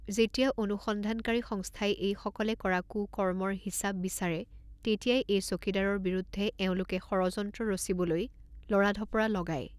যেতিয়া অনুসন্ধানকাৰী সংস্থাই এইসকলে কৰা কু কৰ্মৰ হিচাপ বিচৰে তেতিয়াই এই চকীদাৰৰ বিৰুদ্ধে এওঁলোকে ষড়যন্ত্ৰ ৰচিবলৈ লৰা ঢপৰা লগায়।